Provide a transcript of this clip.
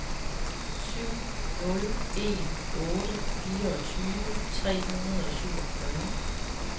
syv nul en otte fireogtyve tre hundrede og syvogfyrre